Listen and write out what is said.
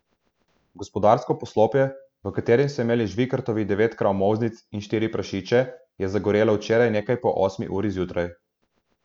Gospodarsko poslopje, v katerem so imeli Žvikartovi devet krav molznic in štiri prašiče, je zagorelo včeraj nekaj po osmi uri zjutraj.